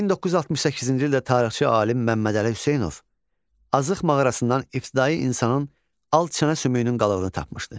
1968-ci ildə tarixçi alim Məmmədəli Hüseynov Azıq mağarasından ibtidai insanın alt çənə sümüyünün qalıqını tapmışdı.